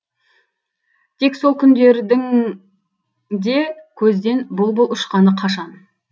тек сол күндердің де көзден бұл бұл ұшқаны қашан